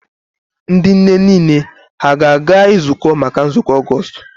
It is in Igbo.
Ndị nne niile ha a ga-ezukọ maka nzukọ Ọgọọst?